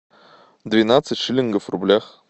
двенадцать шиллингов в рублях